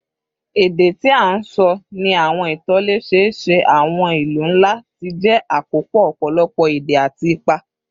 Èdè tí a ń sọ ní àwọn ìtòlẹ́sẹẹsẹ àwọn ìlú ńlá ti jẹ́ àkópọ̀ ọ̀pọ̀lọpọ̀ èdè àti ipa